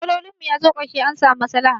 Matsolin mu ya zo karshe, an samu maslaha.